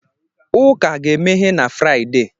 Ụka ga-emeghe na Fraịde